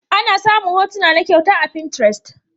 Ana samun hotuna na kyauta a pinterest.